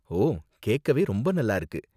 ஓ, கேக்கவே ரொம்ப நல்லா இருக்கு.